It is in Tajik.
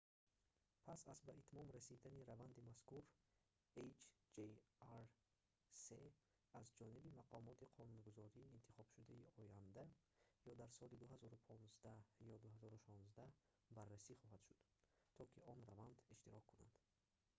пас аз ба итмом расидани раванди мазкур hjr-3 аз ҷониби мақомоти қонунгузории интихобшудаи оянда ё дар соли 2015 ё 2016 баррасӣ хоҳад шуд то ки он раванд иштирок кунад